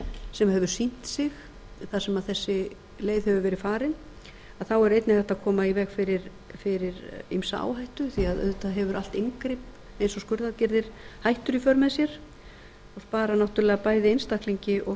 sem hefur sýnt sig þar sem þessi leið hefur verið farin að þá er einnig hægt að koma í veg fyrir ýmsa áhættu því auðvitað hefur allt inngrip eins og skurðaðgerðir hættur í för með sér og sparar náttúrlega bæði einstaklingi og